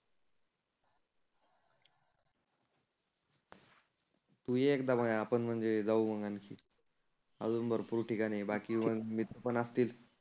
तु ये एकदा मग आपण म्हणजे जाऊ मग आनखी. आजुन भरपुर ठिकाण आहे बाकी मग मीत्र पण असतील.